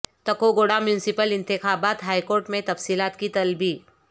تکو گوڑہ میونسپل انتخابات ہائیکورٹ میں تفصیلات کی طلبی